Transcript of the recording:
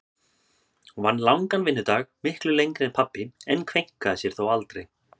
Hún vann langan vinnudag, miklu lengri en pabbi, en kveinkaði sér þó aldrei.